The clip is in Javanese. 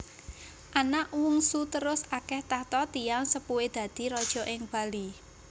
Anak Wungsuterus ake tahta tiyang sepuhé dadi raja ing Bali